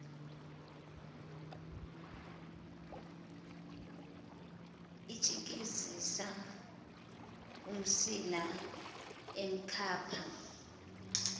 etshikizisa umsila emkhapha